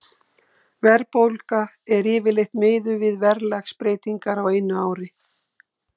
Verðbólga er yfirleitt miðuð við verðlagsbreytingar á einu ári.